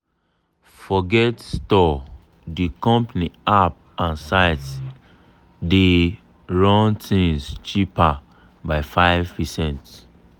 forget store di company app and site dey dey run things cheaper by 5%."